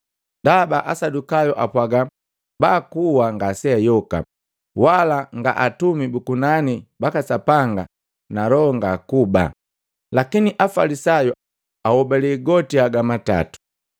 Ndaba Asadukayu apwaga bakuwa ngaseayoka, wala nga atumi bu kunani baka Sapanga na loho ngakuba. Lakini Afalisayu ahobalee goti haga matato.